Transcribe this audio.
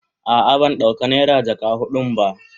A'a ban dauka naira jaka hudun ba.